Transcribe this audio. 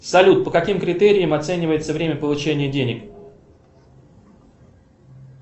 салют по каким критериям оценивается время получения денег